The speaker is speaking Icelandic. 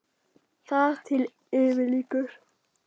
Þar til yfir lýkur.